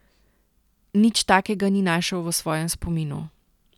Nič takega ni našel v svojem spominu.